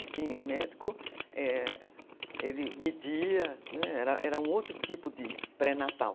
O médico, ele media, era um outro tipo de pré-natal.